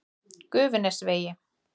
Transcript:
Gufunesvegi